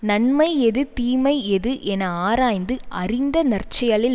நன்மை எது தீமை எது என ஆராய்ந்து அறிந்த நற்செயலில்